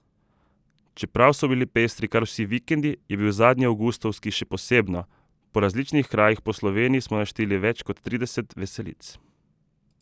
Čeprav so bili pestri kar vsi vikendi, je bil zadnji avgustovski še posebno, po različnih krajih po Sloveniji smo našteli več kot trideset veselic.